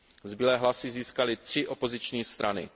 Zbylé hlasy získaly tři opoziční strany.